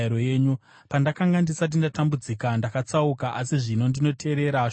Pandakanga ndisati ndatambudzika, ndakatsauka, asi zvino ndinoteerera shoko renyu.